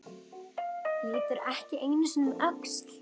Lítur ekki einu sinni um öxl.